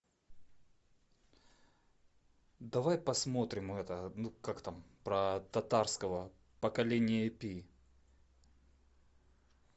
давай посмотрим это ну как там про татарского поколение пи